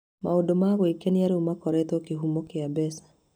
Maũndũ ma gwĩkenia rĩu makoretwo kĩhumo kĩa mbeca.